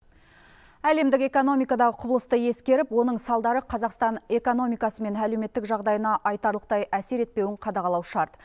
әлемдік экономикадағы құбылысты ескеріп оның салдары қазақстан экономикасы мен әлеуметтік жағдайына айтарлықтай әсер етпеуін қадағалау шарт